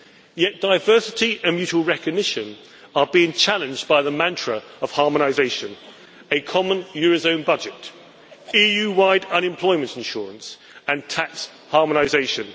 Yet diversity and mutual recognition are being challenged by the mantra of harmonisation, a common eurozone budget, EU-wide unemployment insurance and tax harmonisation.